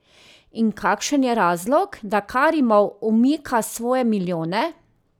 In kakšen je razlog, da Karimov umika svoje milijone?